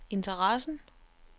interessen